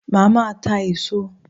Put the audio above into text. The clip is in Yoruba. Màá máa ta èso